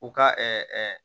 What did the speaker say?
U ka